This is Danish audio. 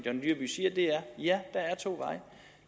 ja der er to veje